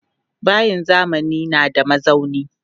Bayin zamani na da mazauni.